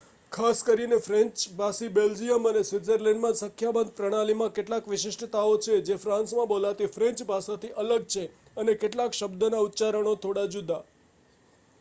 ખાસ કરીને ફ્રેન્ચ ભાષી બેલ્જિયમ અને સ્વિત્ઝરલેન્ડમાં સંખ્યાબંધ પ્રણાલીમાં કેટલીક વિશિષ્ટતાઓ છે જે ફ્રાન્સમાં બોલાતી ફ્રેન્ચ ભાષાથી અલગ છે અને કેટલાક શબ્દોના ઉચ્ચારણો થોડા જુદા